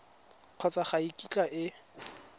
kgotsa ga e kitla e